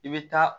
I bɛ taa